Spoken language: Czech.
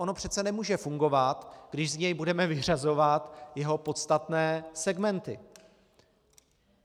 Ono přece nemůže fungovat, když z něj budeme vyřazovat jeho podstatné segmenty.